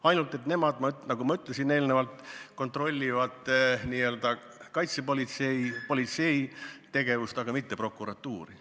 Ainult et nemad, nagu ma juba ütlesin, kontrollivad kaitsepolitsei ja politsei tegevust, aga mitte prokuratuuri.